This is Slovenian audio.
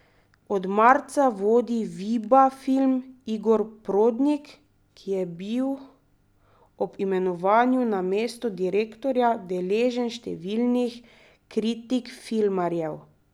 Od marca vodi Viba film Igor Prodnik, ki je bil ob imenovanju na mesto direktorja deležen številnih kritik filmarjev.